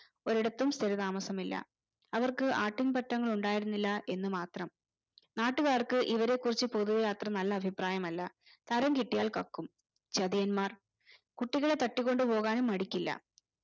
ഒരിടത്തും സ്ഥിര താമസമില്ല അവർക്കു ആട്ടിൻപറ്റങ്ങളുണ്ടായിരുന്നില്ല എന്ന് മാത്രം നാട്ടുകാർക്ക് ഇവരെ കുറിച്ച പൊതുവെ അത്ര നല്ല അഭിപ്രായമല്ല തരം കിട്ടിയാൽ കക്കും ചതിയൻമാർ കുട്ടികളെ തട്ടികൊണ്ടുപ്പോക്നും മടിക്കില്ല